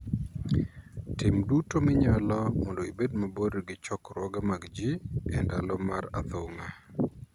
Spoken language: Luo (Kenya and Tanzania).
Tim duto minyalo mondo ibed mabor gi chokruoge mag jii e ndalo mar athung'a.